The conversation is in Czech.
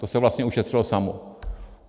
To se vlastně ušetřilo samo.